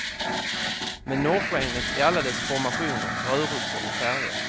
Med norrskenet i alla dess formationer, rörelser och färger.